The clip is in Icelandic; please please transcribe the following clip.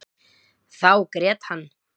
Þá grét hann.